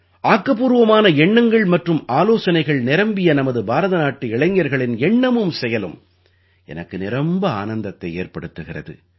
ஆக்கப்பூர்வமான எண்ணங்கள் மற்றும் ஆலோசனைகள் நிரம்பிய நமது பாரதநாட்டு இளைஞர்களின் எண்ணமும் செயலும் எனக்கு நிரம்ப ஆனந்தத்தை ஏற்படுத்துகிறது